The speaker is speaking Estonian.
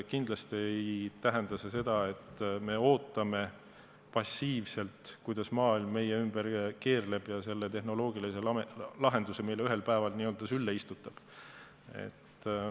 Kindlasti ei tähenda see seda, et me ootame passiivselt, kuidas maailm meie ümber keerleb ja selle tehnoloogilise lahenduse meile ühel päeval n-ö sülle istutab.